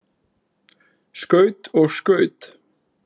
Skaut og skaut.